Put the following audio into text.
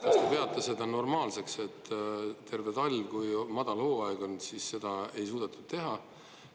Kas te peate seda normaalseks, et terve talv, kui madalhooaeg on, siis seda ei suudetud teha?